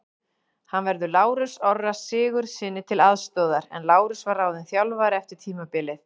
Hann verður Lárusi Orra Sigurðssyni til aðstoðar en Lárus var ráðinn þjálfari eftir tímabilið.